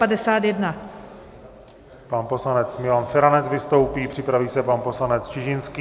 Pan poslanec Milan Feranec vystoupí, připraví se pan poslanec Čižinský.